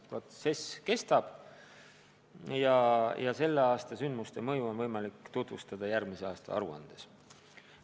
Protsess kestab ja selle aasta sündmuste mõju on võimalik tutvustada järgmise aasta aruandes.